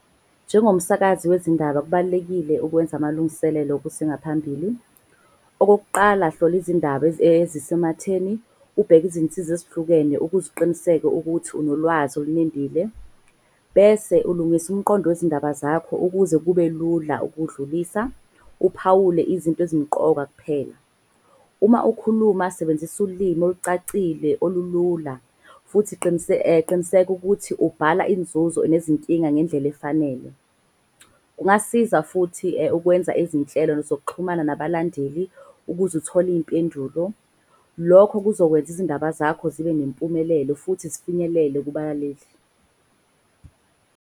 Njengomsakazi wezindaba, kubalulekile ukwenza amalungiselelo kusengaphambili. Okokuqala, hlola izindaba ezisematheni ubheke izinsiza ezihlukene. Ukuze uqiniseke ukuthi unolwazi olunembile. Bese ulungisa umqondo wezindaba zakho ukuze kube lula ukuwudlulisa. Uphawule izinto ezimqoka kuphela. Uma ukhuluma sebenzisa ulimi olucacile olulula futhi qiniseka ukuthi ubhala inzuzo nezinkinga ngendlela efanele. Kungasiza futhi ukwenza izinhlelo zokuxhumana nabalandeli ukuze uthole iyimpendulo. Lokho kuzokwenza izindaba zakho zibe nempumelelo futhi zifinyelele kubalaleli.